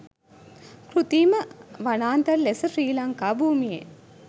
කෘතීම වනාන්තර ලෙස ශ්‍රී ලංකා භූමියේ